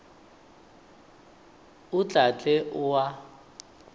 o tla tle o a